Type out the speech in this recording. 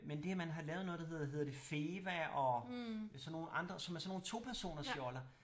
Men det man har lavet noget der hedder hedder det Feva og sådan nogle andre som er sådan nogle topersoners joller